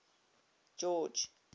george